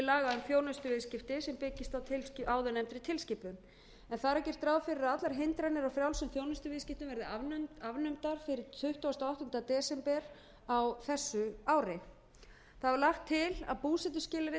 laga um þjónustuviðskipti sem byggir á áðurnefndri tilskipun en þar er gert ráð fyrir að allar hindranir á frjálsum þjónustuviðskiptum verði afnumdar fyrir tuttugasta og áttunda desember á þessu ári þá er lagt til að búsetuskilyrði